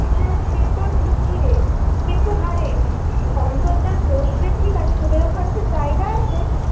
হ্যাঁ সে তো ঠিকই রে, কিন্তু হা রে অন্তর্জাল বসবে ঠিক আছে, তোদের ওখানে কি জায়গা আছে?